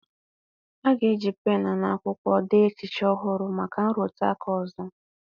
A ga-eji pen na akwụkwọ dee echiche ọhụrụ maka nrụtụ aka ọzọ